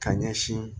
Ka ɲɛsin